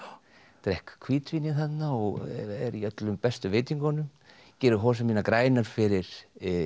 drekk hvítvínið þarna og er í öllum bestu veitingunum gerir hosur mínar grænar fyrir